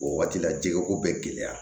O waati la jɛgɛ ko bɛ gɛlɛya